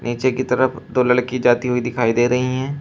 नीचे की तरफ दो लड़की जाती हुई दिखाई दे रही हैं।